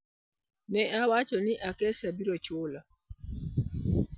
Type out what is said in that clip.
Ne awacho ni, "Acacia biro chulo".